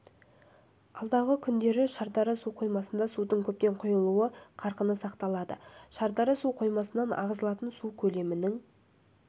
алдағы күндері шардара су қоймасына судың көптеп құйылу қарқыны сақталады шардара су қоймасынан ағызылатын су көлемінің